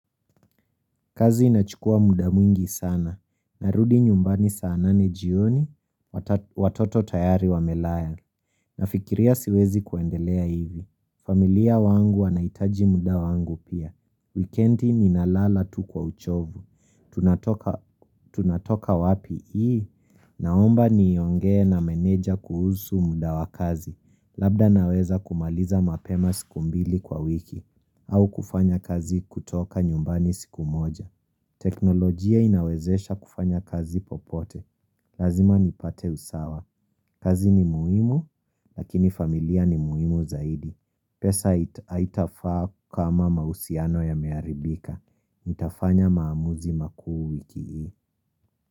Kazi inachukua muda mwingi sana. Narudi nyumbani saanane jioni, watoto tayari wamelala. Nafikiria siwezi kuendelea hivi. Familia wangu wanaitaji muda wangu pia. Wikendi ni nalala tu kwa uchovu. Tunatoka wapi ii? Naomba ni yongee na menedja kuhusu muda wakazi. Labda naweza kumaliza mapema sikumbili kwa wiki. Au kufanya kazi kutoka nyumbani siku moja. Teknolojia inawezesha kufanya kazi popote Lazima nipate usawa kazi ni muhimu, lakini familia ni muhimu zaidi pesa itafaa kama mausiano ya mearibika itafanya maamuzi makuu wiki hii.